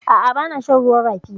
A'a, bana shan ruwan rafi.